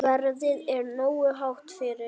Verðið er nógu hátt fyrir.